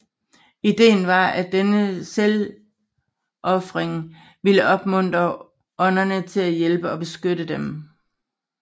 Idéen var at denne selvofring ville opmuntre ånderne til at hjælpe og beskytte dem